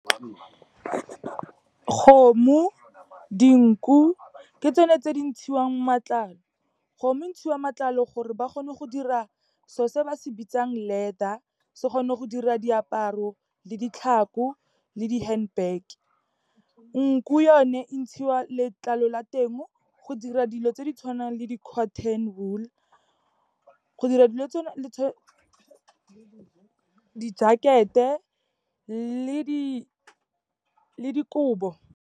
Kgomo, dinku ke tsone tse di ntshiwang matlalo. Kgomo entshiwa matlalo gore ba kgone go dira so se ba se bitsang leather, se kgone go dira diaparo, le ditlhako, le di-handbag. Nku yone, e ntshiwa letlalo la teng go dira dilo tse di tshwanang le di-cotton wool, go dira di-jacket-e le dikobo.